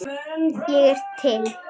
Ég er til.